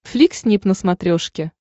флик снип на смотрешке